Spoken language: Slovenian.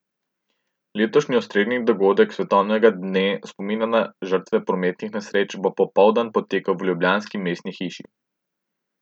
Letošnji osrednji dogodek svetovnega dne spomina na žrtve prometnih nesreč bo popoldan potekal v ljubljanski mestni hiši.